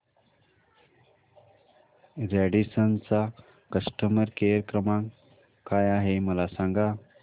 Radisson चा customer care क्रमांक काय आहे मला सांगा